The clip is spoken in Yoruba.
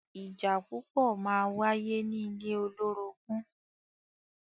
Ìjà púpọ̀ máa wáyé ní ilé olórogún.